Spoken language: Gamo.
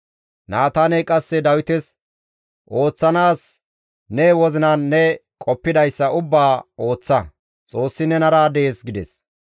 Naataaney qasse Dawites, «Ooththanaas ne wozinan ne qoppidayssa ubbaa ooththa; Xoossi nenara dees» gides.